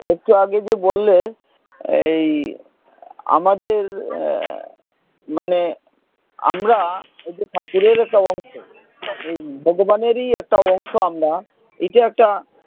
একটু আগে যে বললে এই আমাদের আহ মানে আমরা এই যে ঠাকুরের একটা অংশ উম ভগবানেরই একটা অংশ আমরা এইটা একটা,